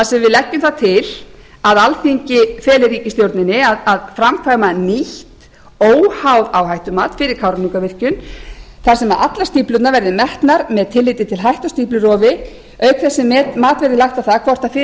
sem við leggjum til að alþingi feli ríkisstjórninni að framkvæma nýtt óháð áhættumat fyrir kárahnjúkavirkjun þar sem allar stíflurnar verði metnar með tilliti til að hætta stíflurofi auk þess sem mat verði lagt á það hvort fyrir